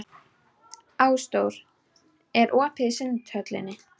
Ásdór, er opið í Sundhöllinni?